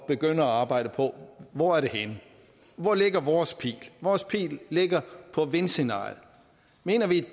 begynde at arbejde på hvor er det henne hvor ligger vores pil vores pil ligger på vindscenariet mener vi